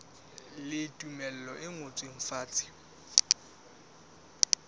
le tumello e ngotsweng fatshe